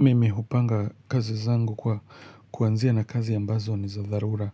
Mimi hupanga kazi zangu kwa kuanzia na kazi ambazo ni za dharura mhh,